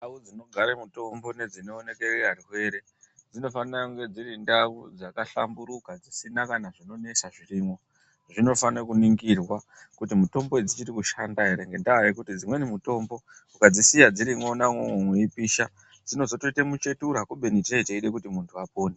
Ndau dzinogare mitombo ngedzinooneke arwere dzinofanire kunge dziri ndau dzakahlamburuka dzisina kana zvinonesa zvirimwo zvinofane kuningirwa kuti mitombo dzichiri kushanda ere ngendaa yekuti dzimweni mitombo ukadzisiya dzirimwona umwomwo weipisha dzinozotoite muchetura kubeni tee teide kuti munthu apone.